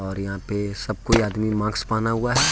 और यहां पे सब कोई आदमी माक्स पहना हुआ है।